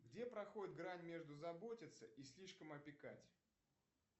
где проходит грань между заботится и слишком опекать